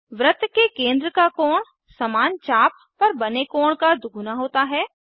वृत्त के केंद्र का कोण समान चाप पर बने कोण का दुगुना होता है